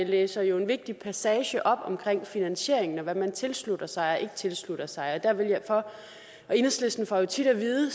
læser jo en vigtig passage op om finansieringen og hvad man tilslutter sig og ikke tilslutter sig og enhedslisten får jo tit at vide